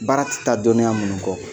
Baara tɛ taa dɔnniya minnu kɔ